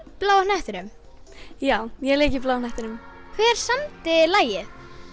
Bláa hnettinum já ég lék í Bláa hnettinum hver samdi lagið